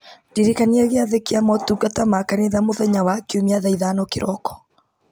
ndirikania gĩathĩ kĩa motungata ma kanitha mũthenya wa kiumia thaa ithano kĩroko